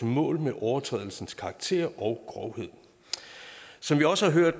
mål med overtrædelsens karakter og grovhed som vi også har hørt